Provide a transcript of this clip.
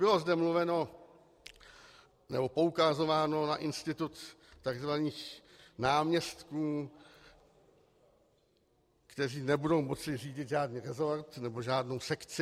Bylo zde mluveno nebo poukazováno na institut tzv. náměstků, kteří nebudou moci řídit žádný resort nebo žádnou sekci.